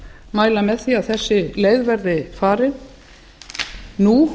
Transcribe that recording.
mæla með því að þessi leið veðri farin nú